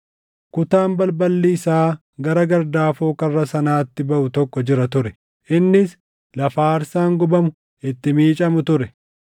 Kutaan balballi isaa gara gardaafoo karra sanatti baʼu tokko jira ture; innis lafa aarsaan gubamu itti miicamu ture.